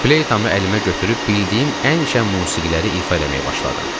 Fleytamı əlimə götürüb bildiyim ən şən musiqiləri ifa eləməyə başladım.